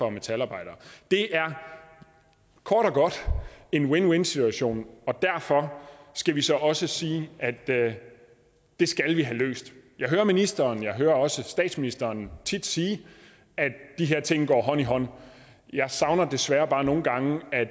og metalarbejdere det er kort og godt en win win situation og derfor skal vi så også sige at det skal vi have løst jeg hører ministeren og jeg hører også statsministeren tit sige at de her ting går hånd i hånd jeg savner desværre bare nogle gange at